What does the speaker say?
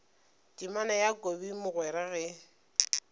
temana ya kobi mogwera ge